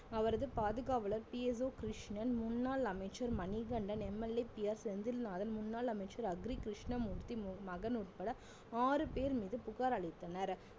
அவரது பாதுகாவலர் PSO கிருஷ்ணன் முன்னாள் அமைச்சர் மணிகண்டன் MLAPR செந்தில்நாதன் முன்னாள் அமைச்சர் அக்ரி கிருஷ்ணமூர்த்தி மகன் உட்பட ஆறு பேர் மீது புகார் அளித்தனர்